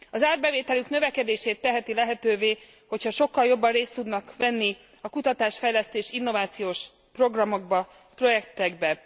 Az árbevételük növekedését teheti lehetővé, hogyha sokkal jobban részt tudnak venni a kutatás fejlesztés innovációs programokban, projektekben.